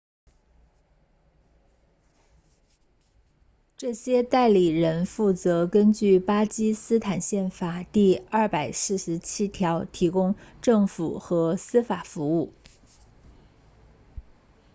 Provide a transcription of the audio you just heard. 这些代理人负责根据巴基斯坦宪法第247条提供政府和司法服务